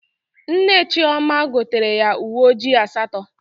Nne Chioma gotere ya uwe ojii asatọ